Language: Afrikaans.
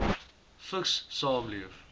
vigs saamleef